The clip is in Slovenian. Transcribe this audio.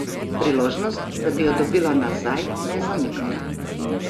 Priložnost, da bi jo dobila nazaj, me je zamikala.